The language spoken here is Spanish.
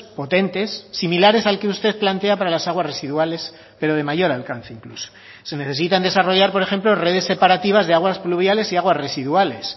potentes similares al que usted plantea para las aguas residuales pero de mayor alcance incluso se necesitan desarrollar por ejemplo redes separativas de aguas fluviales y aguas residuales